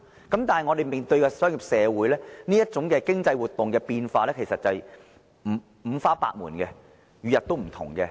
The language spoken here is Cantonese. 但是，我們面對的商業社會，這類經濟活動的變化，其實是五花百門，每日不同的。